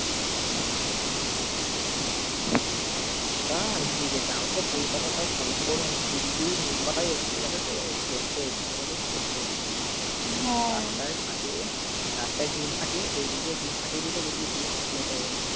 তাও তো কলকাতায় কম গরম দিল্লি মুম্বাই ওইখানে গেলে তো সেদ্ধ ওইখানে গেলে সেদ্ধ হ্যাঁ রাস্তায় ফাটিয়ে ডিম ফাটিয়ে দিলে, দেখবি ডিমের অমলেট হয়ে গেছে।